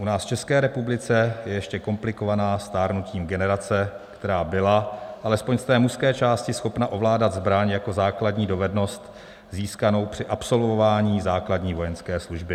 U nás v České republice je ještě komplikovaná stárnutím generace, která byla, alespoň z té mužské části, schopna ovládat zbraň jako základní dovednost získanou při absolvování základní vojenské služby.